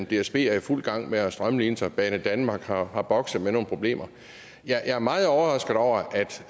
dsb er i fuld gang med at strømline sig og banedanmark har har bokset med nogle problemer jeg er meget overrasket over